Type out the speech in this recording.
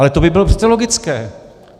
Ale to by bylo přeci logické.